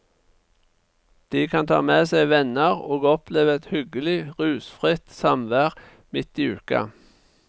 De kan ta med seg venner, og oppleve et hyggelig, rusfritt samvær midt i uka.